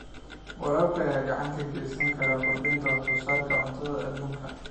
Waraabka ayaa gacan ka geysan kara kordhinta wax soo saarka cuntada adduunka.